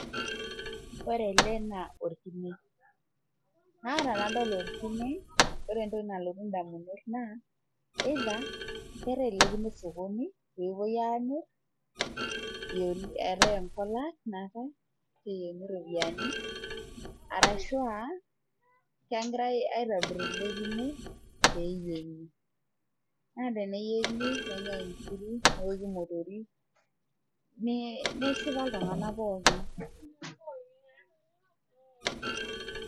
ore ena naa orkine, naa ore tenadol orkine , ore entoki nalotu indamunot naa kerewi ele kine osokoni pee epuoi amir, eetai enkolat natae ashu eyieuni iropiyiani arashu aa kegirae aitobir ele kine pee eyieng' naa teneyieng' nenyai inkiri neoki imotori, neshipa iltung'anak pookin.